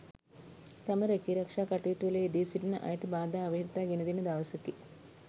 තම රැකීරක්ෂා කටයුතුවල යෙදී සිටින අයට බාධා අවහිරතා ගෙන දෙන දවසකි.